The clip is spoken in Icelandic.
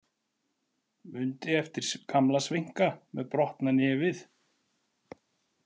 Mundi eftir gamla sveinka með brotna nefið.